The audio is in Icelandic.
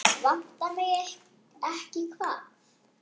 Vantar mig ekki hvað?